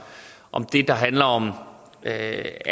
om det der handler om at